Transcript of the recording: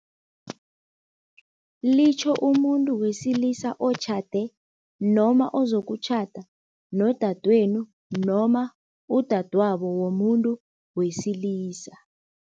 Litjho umuntu wesilisa otjhade noma ozokutjhada nodadwenu noma udadwabo womuntu wesilisa.